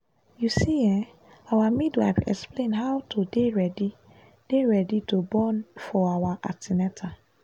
you see[um]our midwife explain how to dey ready dey ready to born for our an ten atal